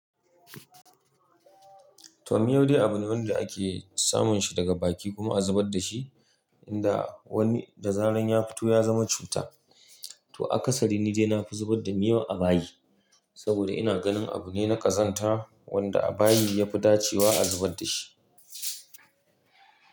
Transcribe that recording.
To miyo dai abu ne wanda ake samun shi daga baki kuma a zubar da shi. Inda wani da zaran ya fito ya zama cuta. To akasari ni dai na fi zubar da miyo a bayi, saboda ina ganin abu ne na ƙazanta wanda a bayi ya fi dacewa a zubar da shi.